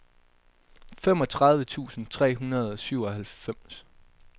femogtredive tusind tre hundrede og syvoghalvfems